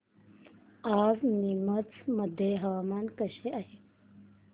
आज नीमच मध्ये हवामान कसे आहे